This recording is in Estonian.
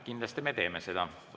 Kindlasti me teeme seda.